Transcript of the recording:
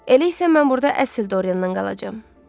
Elə isə mən burda əsl Doryandan qalacam.